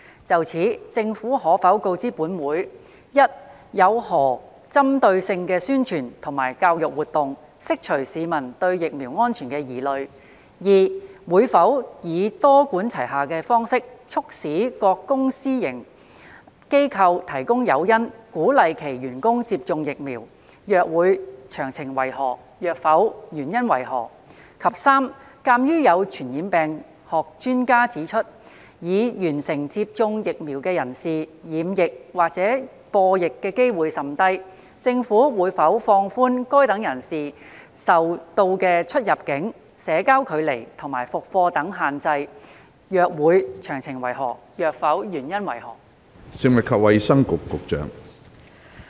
就此，政府可否告知本會：一有何針對性的宣傳及教育活動，釋除市民對疫苗安全的疑慮；二會否以多管齊下的方式，促使各公私營機構提供誘因鼓勵其員工接種疫苗；若會，詳情為何；若否，原因為何；及三鑒於有傳染病學專家指出，已完成接種疫苗的人士染疫或播疫的機會甚低，政府會否放寬該等人士所受到的出入境、社交距離及復課等限制；若會，詳情為何；若否，原因為何？